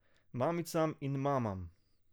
Mamicam in mamam.